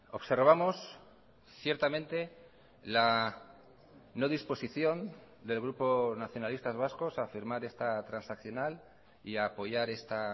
observamos ciertamente la no disposición del grupo nacionalistas vascos a firmar esta transaccional y a apoyar esta